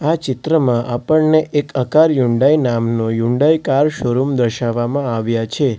આ ચિત્રમાં આપણને એક આકાર યુન્ડાઇ નામનો યુન્ડાઇ કાર શોરૂમ દર્શાવવામાં આવ્યા છે.